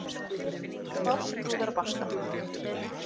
Fáskrúðarbakka